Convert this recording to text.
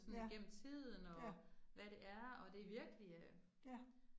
Ja, ja. Ja